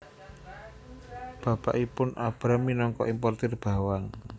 Bapakipun Abram minangka importir bawang